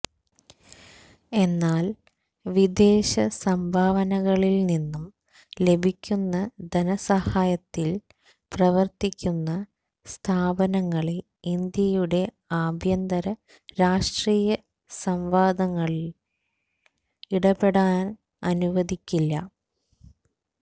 എന്നാല് വിദേശ സംഭാവനകളില് നിന്നും ലഭിക്കുന്ന ധനസഹായത്തില് പ്രവര്ത്തിക്കുന്ന സ്ഥാപനങ്ങളെ ഇന്ത്യയുടെ ആഭ്യന്തര രാഷ്ട്രീയ സംവാദങ്ങളില് ഇടപെടാന് അനുവദിക്കില്ല